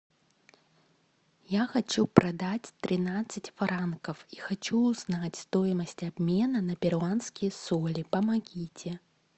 я хочу продать тринадцать франков и хочу узнать стоимость обмена на перуанские соли помогите